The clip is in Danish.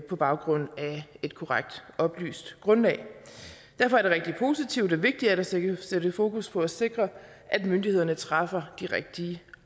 på baggrund af et korrekt oplyst grundlag derfor er det rigtig positivt og vigtigt at sætte sætte fokus på at sikre at myndighederne træffer de rigtige